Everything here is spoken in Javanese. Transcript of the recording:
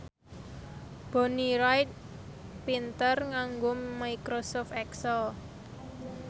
Bonnie Wright pinter nganggo microsoft excel